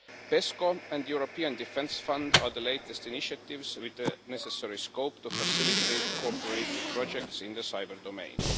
PESCO and the European Defence Fund are the latest initiatives with the necessary scope to facilitate co operative projects in the cyber domain.